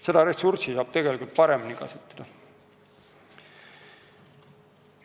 Seda ressurssi saab tegelikult paremini kasutada.